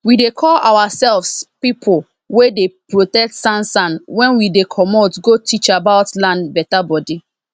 we dey call ourselves people wey dey protect sansan wen we dey comot go teach about land beta bodi